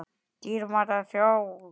Dýrmæta þjóð!